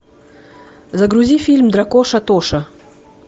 загрузи фильм дракоша тоша